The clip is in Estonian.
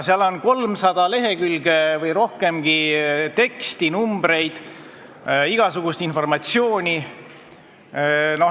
... seal on 300 lehekülge või rohkemgi teksti, numbreid, igasugust informatsiooni.